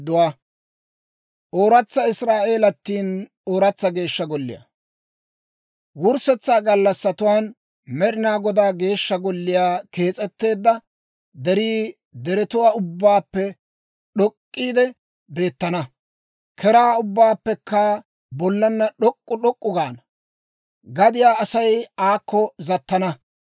Wurssetsaa gallassatuwaan Med'ina Godaa Geeshsha Golliyaa kees'etteedda derii deretuwaa ubbaappe d'ok'k'iide beettana; keraa ubbatuwaappekka bollana d'ok'k'u d'ok'k'u gaana. Gadiyaa Asay aakko zattana.